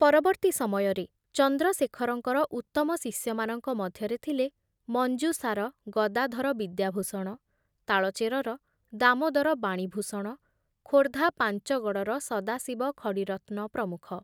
ପରବର୍ତ୍ତୀ ସମୟରେ ଚନ୍ଦ୍ରଶେଖରଙ୍କର ଉତ୍ତମ ଶିଷ୍ୟମାନଙ୍କ ମଧ୍ୟରେ ଥିଲେ ମଞ୍ଜୁଷାର ଗଦାଧର ବିଦ୍ୟାଭୂଷଣ, ତାଳଚେରର ଦାମୋଦର ବାଣୀଭୂଷଣ, ଖୋର୍ଦ୍ଧା ପାଞ୍ଚଗଡ଼ର ସଦାଶିବ ଖଡ଼ିରତ୍ନ ପ୍ରମୁଖ ।